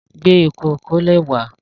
Gbé ike ìkólẹ̀ wá.